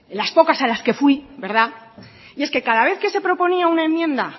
las pocas a las que fui verdad y es que cada vez que se proponía una enmienda